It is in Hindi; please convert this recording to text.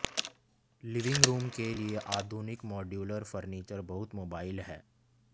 लिविंग रूम के लिए आधुनिक मॉड्यूलर फर्नीचर बहुत मोबाइल है